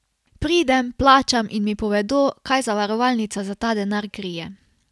Pridem, plačam in mi povedo, kaj zavarovalnica za ta denar krije.